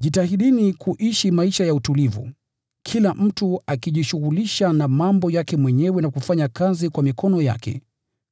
Jitahidini kuishi maisha ya utulivu, kila mtu akijishughulisha na mambo yake mwenyewe na kufanya kazi kwa mikono yake,